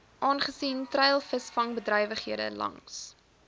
aangesien treilvisvangbedrywighede langs